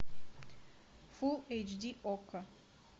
фулл эйч ди окко